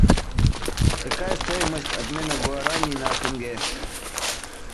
какая стоимость обмена гуарани на тенге